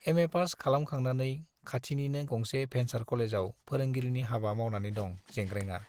एमएपास खालामखांनानै खाथिनिनो गंसे भेन्सार कलेजाव फोरोंगिरिनि हाबा मावनानै दं जेंग्रेंआ।